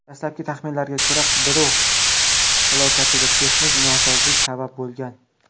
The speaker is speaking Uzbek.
Dastlabki taxminlarga ko‘ra, qiruvchi halokatiga texnik nosozlik sabab bo‘lgan.